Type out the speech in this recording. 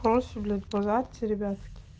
молодцы блять базарите ребятки